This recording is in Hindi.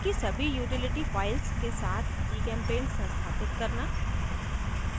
इसकी सभी utility files के साथ gchempaint संस्थापित करना